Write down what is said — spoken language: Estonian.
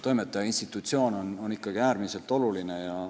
Toimetaja institutsioon on äärmiselt oluline.